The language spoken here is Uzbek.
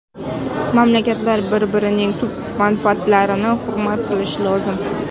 Mamlakatlar bir-birining tub manfaatlarini hurmat qilishi lozim.